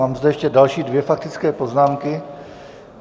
Mám tu ještě další dvě faktické poznámky.